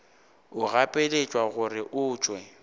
o gapeletšwa gore o tšwe